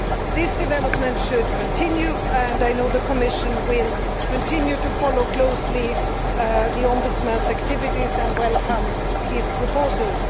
This development should continue, and I know the Commission will continue to follow closely the Ombudsman's activities and welcome his proposals.